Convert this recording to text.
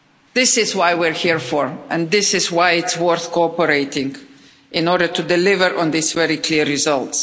This is what we're here for, and this is why it's worth cooperating in order to deliver on this very clear result.